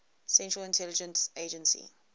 central intelligence agency